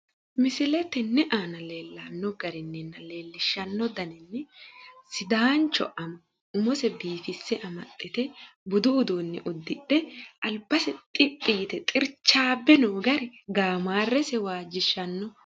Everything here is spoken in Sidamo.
Misile tenne aana leellanno garinninna leellishshanno daninni sidaancho ama umose biifisse amaxxite budu uduunne uddidhe albase xiphi yite xirchaabbe noo gari gaamaarrese waajjishanno.